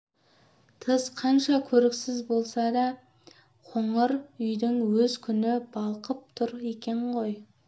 тыс қанша көріксіз болса да қоңыр үйдің өз күні балқып тұр екен ғой